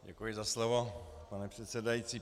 Děkuji za slovo, pane předsedající.